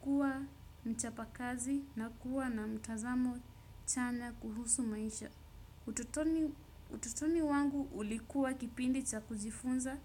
kuwa mchapakazi na kuwa na mtazamo chanya kuhusu maisha. Utotoni wangu ulikuwa kipindi cha kujifunza.